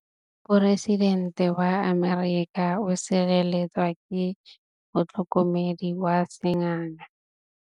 Poresitêntê wa Amerika o sireletswa ke motlhokomedi wa sengaga.